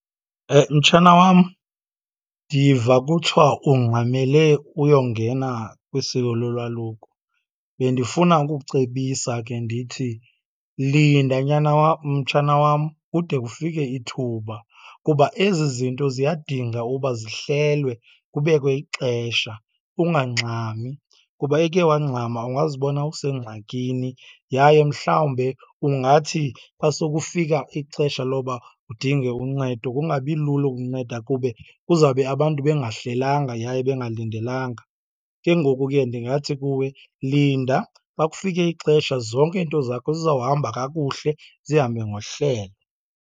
Mtshana wam, ndiva kuthiwa ungxamele uyongena kwisiko lolwaluko. Bendifuna ukukucebisa ke ndithi linda, nyana mtshana wam kude kufike ithuba, kuba ezi zinto ziyadinga uba zihlelwe kubekwe ixesha ungangxami kuba eke wangxama ungazibona usengxakini. Yaye mhlawumbe kungathi xa sokufika ixesha loba udinge uncedo kungabi lula ukunceda kube kuzawube abantu bengahlelanga yaye bengalindelanga. Ke ngoku ke ndingathi kuwe linda, xa kufike ixesha zonke iiinto zakho zizawuhamba kakuhle, zihambe ngohlelo.